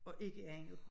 Og ikke andet